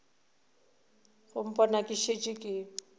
go mpona ke šetše ke